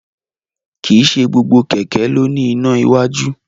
Kìí se gbogbo kẹ̀kẹ́ ló ní iná iwájú